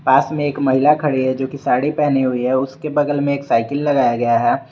पास में एक महिला खड़ी है जो की साड़ी पहनी हुई है उसके बगल में एक साइकिल लगाया गया है।